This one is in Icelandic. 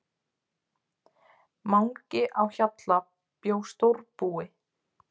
Mangi á Hjalla bjó stórbúi.